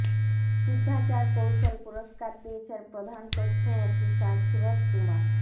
শুদ্ধাচার কৌশল পুরস্কার পেয়েছেন প্রধান তথ্য অফিসার সুরথ কুমার